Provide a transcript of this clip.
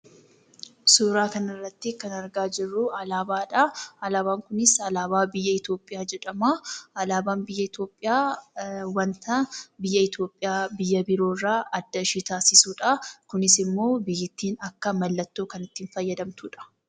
Suuraa kanarratti kan argaa jirru, alaabaadha. Alaabaan kunis alaabaa biyya Itoophiyaa jedhama. Alaabaan biyya Itoophiyaa, wanta biyya Itoophiyaa biyya biroorraa adda kan taasisudha. Kunisimmoo biyyattiin akka mallattootti kan itti fayyadamtudha.